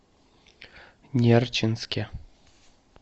нерчинске